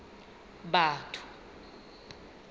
batho